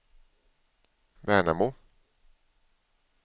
Värnamo